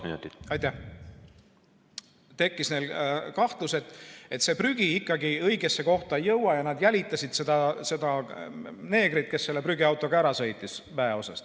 Millegipärast tekkis neil kahtlus, et see prügi ikkagi õigesse kohta ei jõua, ja nad jälitasid seda neegrit, kes selle prügiautoga väeosast ära sõitis.